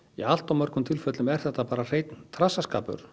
í allt of mörgum tilfellum er þetta bara hreinn trassaskapur